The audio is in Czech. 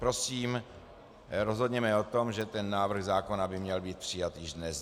Prosím, rozhodněme o tom, že ten návrh zákona by měl být přijat již dnes.